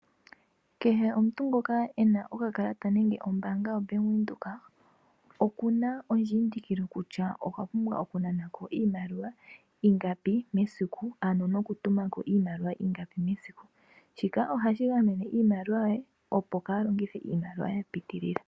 Kehe omuntu ngoka ena okakalata nenge Ombanga yaVenduka okuna ondjindikilo kutya okwa pumbwa okunana ko iimaliwa ingapi mesiku, ano nokutuma ko iimaliwa ingapi mesiku, shika ohashi gamene iimaliwa yoye opo kalongitha iimaliwa yapitilila.